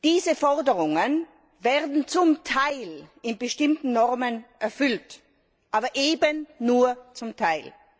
Diese Forderungen werden zum Teil in bestimmten Normen erfüllt, aber eben nur zum Teil.